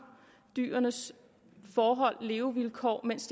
dyrenes forhold og levevilkår mens